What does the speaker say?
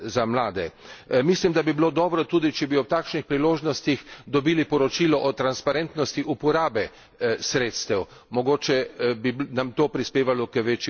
Mislim, da bi bilo dobro tudi, če bi ob takšnih priložnostih dobili poročilo o transparentnosti uporabe sredstev, mogoče bi to prispevalo k večji učinkovitosti.